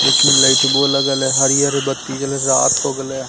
देखीये ले तो बोलेगा ले हरे-हर बत्ती जल रात होगले ।